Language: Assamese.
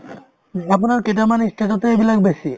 উম, আপোনাৰ কেইটামান ই state তে এইবিলাক বেছি